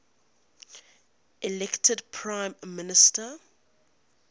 elected prime minister